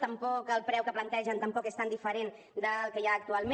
tampoc el preu que plantegen és tan diferent del que hi ha actualment